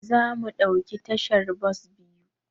Zamu ɗauki tashar bas biyu.